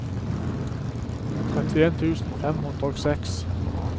trettien tusen fem hundre og seks